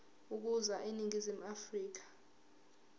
ukuza eningizimu afrika